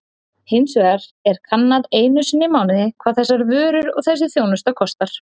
Hins vegar er kannað einu sinni í mánuði hvað þessar vörur og þessi þjónusta kosta.